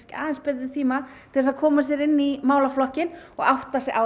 aðeins betri tíma til að koma sér inn í málaflokkinn og átta sig á